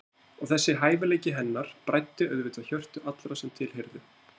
Og þessi hæfileiki hennar bræddi auðvitað hjörtu allra sem til heyrðu.